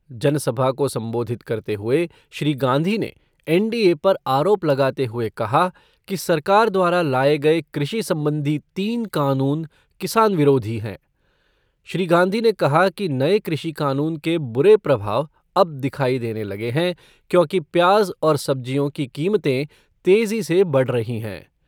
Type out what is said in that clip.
जनसभा को संबोधित करते हुए श्री गांधी ने एनडीए पर आरोप लगाते हुए कहा कि सरकार द्वारा लाए गए कृषि संबंधी तीन कानून किसान विरोधी हैं। श्री गांधी ने कहा कि नये कृषि कानून के बुरे प्रभाव अब दिखाई देने लगे हैं क्योंकि प्याज़ और सब्जियों की कीमतें तेज़ी से बढ़ रही हैं।